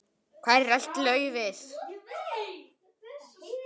Hvar er allt laufið?